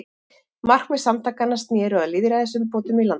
Markmið samtakanna sneru að lýðræðisumbótum í landinu.